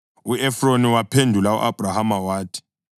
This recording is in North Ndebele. U-Efroni waphendula u-Abhrahama wathi,